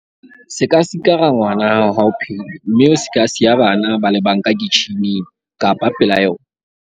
Se ka sikara ngwana ha o phehile mme o se ka siya bana ba le bang ka kitjhining kapa pela yona.